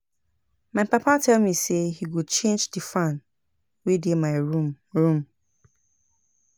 My papa tell me say he go change the fan wey dey my room room